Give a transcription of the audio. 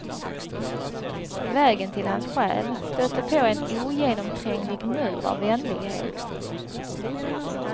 Vägen till hans själ stötte på en ogenomtränglig mur av vänlighet.